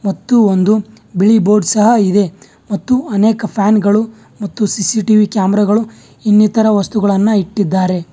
ಮತ್ತು ಒಂದು ಬಿಳಿ ಬೋರ್ಡ್ ಸಹ ಇದೆ ಮತ್ತು ಅನೇಕ ಫ್ಯಾನ್ಗಳು ಮತ್ತು ಸಿ_ಸಿ_ಟಿ_ವಿ ಕ್ಯಾಮೆರಾ ಗಳು ಇನ್ನಿತರ ವಸ್ತುಗಳನ್ನ ಇಟ್ಟಿದ್ದಾರೆ.